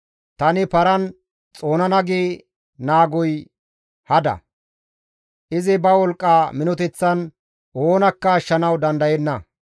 Tani paran xoonana gi naagoy hada; izi ba wolqqa minoteththan oonakka ashshanawu dandayenna.